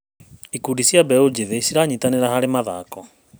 Ikundi cia mbeũ njĩthĩ ciranyitanĩra harĩ mathako.